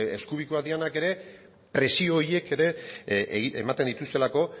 ez hain eskubikoak direnak ere presio horiek ematen dituztelako